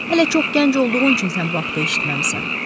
Hələ çox gənc olduğun üçün sən bu haqda eşitməmisən.